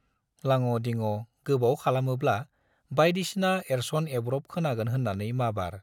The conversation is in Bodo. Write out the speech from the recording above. लाङ' दिङ' गोबाव खालामोब्ला बाइदिसिना एरस'न एरब्र' खोनागोन होन्नानै माबार